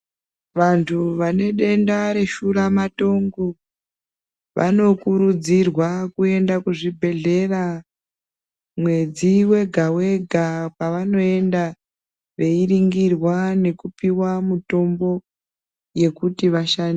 Vantu vane denda reshuramatongo vanokurudzirwa kuenda kuzvibhedhlera mwedzi wega-wega. Pavanoenda veiringirwa nekupiwa mutombo yekuti vasha....